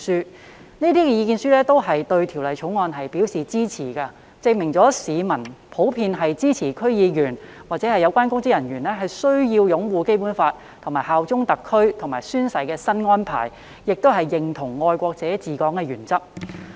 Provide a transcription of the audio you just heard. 接獲的所有意見書均對《條例草案》表示支持，證明市民普遍支持區議員或有關公職人員需要擁護《基本法》，以及效忠特區和宣誓的新安排，亦認同"愛國者治港"的原則。